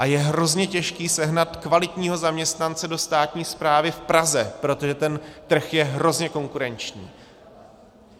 A je hrozně těžké sehnat kvalitního zaměstnance do státní správy v Praze, protože ten trh je hrozně konkurenční.